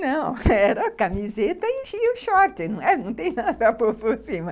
Não, era a camiseta e o short, não tem nada para pôr por cima.